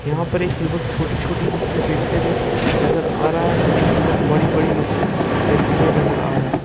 यहां पर एक युवक छोटी छोटी बच्ची बेचते हुए नजर आ रहा है तो एक युवक बड़ी बड़ी मछली बेचते हुए नजर आ रहा है।